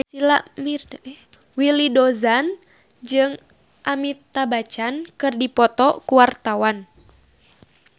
Willy Dozan jeung Amitabh Bachchan keur dipoto ku wartawan